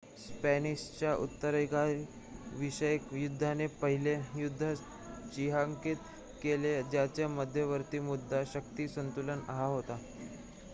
स्पॅनिशच्या उत्तराधिकार विषयक युद्धाने पहिले युद्ध चिन्हांकित केले ज्याचा मध्यवर्ती मुद्दा शक्ती संतुलन हा होता